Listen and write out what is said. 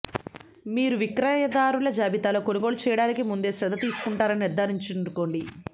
మీరు విక్రయదారుల జాబితాలో కొనుగోలు చేయటానికి ముందే శ్రద్ధ తీసుకుంటున్నారని నిర్ధారించుకోండి